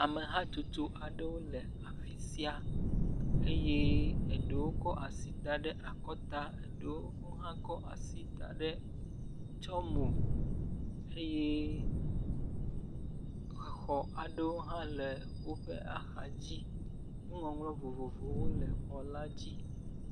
Amehatutu aɖewo le afi sia eye eɖewo kɔ asi da ɖe akɔta eye eɖewo kɔ asi tsyɔ̃ mo eye exɔ aɖewo hã le woƒe axa dzi eye nu ŋɔŋlɔ vovovowo le xɔ la dzi.